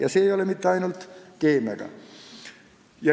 Ja see ei ole nii mitte ainult keemiaga.